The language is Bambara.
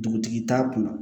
Dugutigi t'a kunna